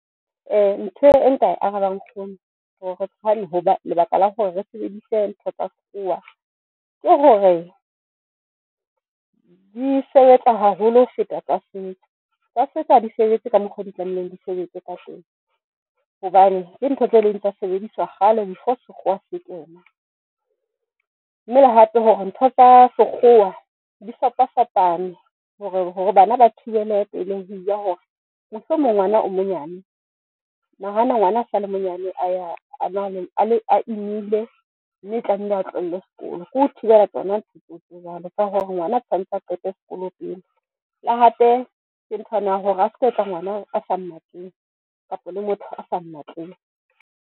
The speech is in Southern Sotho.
Ntho e nka e arabang nkgono hoba lebaka la hore re sebedise ntho tsa sekgowa ke hore, di sebetsa haholo ho feta tsa setso. Tsa setso ha di sebetse ka mokgo di tlamehileng di sebetse ka teng hobane ke ntho tse ileng tsa sebediswa kgale before sekgowa se kena. Mme le hape hore ntho tsa sekgwa di fapafapane hore hore bana ba thibele pelehi ya hore, mohlomong ngwana o monyane, nahana ngwana a sale monyane a imile, mme a tlamehile a tlohelle sekolo. Ke ho thibela tsona ntho tse jwalo ka hore ngwana tshwantse o qete sekolo pele, le hape ke ntho yane ya hore a ska etsa ngwana a sa mo mmatleng kapa le motho a sa mmatleng.